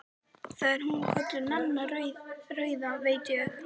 Þar er hún kölluð Nanna rauða, veit ég.